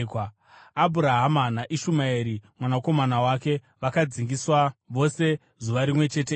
Abhurahama naIshumaeri mwanakomana wake vakadzingiswa vose zuva rimwe chete iroro.